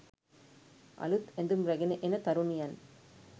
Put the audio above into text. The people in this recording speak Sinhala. අලුත් ඇඳුම් රැගෙන එන තරුණියන්